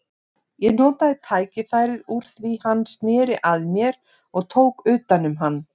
Ég notaði tækifærið úr því hann sneri að mér og tók utan um hann.